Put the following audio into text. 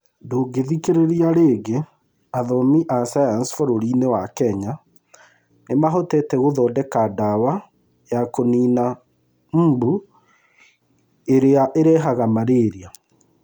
Ndũngĩthikĩrĩria rĩngĩ Athomi a sayansi bũrũri-inĩ wa Kenya nĩ mahotete gũthondeka ndawa ya kũniina mbu ĩrĩa ĩrehaga malaria.